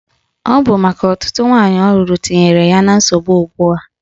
Ọ bụ maka ọtụtụ nwaanyị ọ lụrụ tinyere ya na nsogbu a.